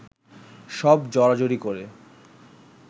সব জড়াজড়ি করে